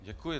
Děkuji.